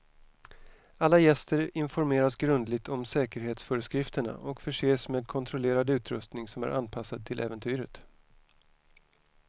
Alla gäster informeras grundligt om säkerhetsföreskrifterna och förses med kontrollerad utrustning som är anpassad till äventyret.